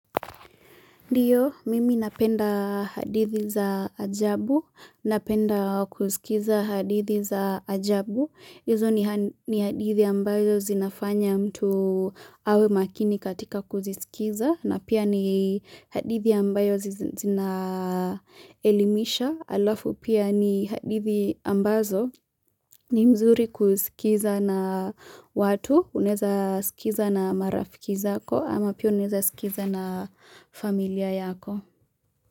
Ndiyo, mimi napenda hadithi za ajabu, napenda kusikiza hadithi za ajabu. Izo ni hadithi ambayo zinafanya mtu awe makini katika kuzisikiza, na pia ni hadithi ambayo zinaelimisha. Alafu pia ni hadithi ambazo ni mzuri kusikiza na watu, uneza sikiza na marafiki zako ama pia unaweza sikiza na familia yako.